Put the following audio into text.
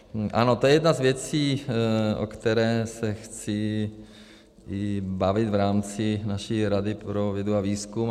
Ano, to je jedna z věcí, o které se chci bavit v rámci naší Rady pro vědu a výzkum.